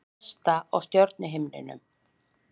Vesta á stjörnuhimninum